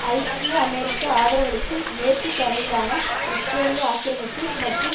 ஐக்கிய அமெரிக்கா ஆதரவளிக்கும் மேற்கு கரையிலான இஸ்ரேலிய ஆக்கிரமிப்பு மற்றும்